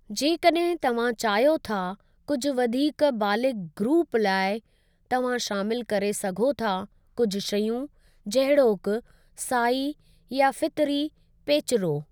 जेकॾहिं तव्हां चाहियो था कुझु वधीक बालिग़ ग्रूपु लाइ, तव्हां शामिलु करे सघो था कुझु शयूं जहिड़ोकि साई या फ़ितरी पेचिरो।